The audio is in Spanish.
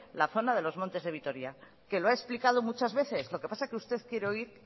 la zona de los montes de vitoria que lo ha explicado muchas veces lo que pasa es que usted quiere oír